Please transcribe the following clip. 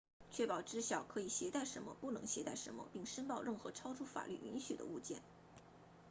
确保知晓可以携带什么不能携带什么并申报任何超出法律允许的物件